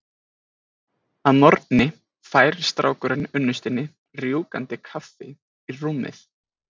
Að morgni færir strákurinn unnustunni rjúkandi kaffi í rúmið.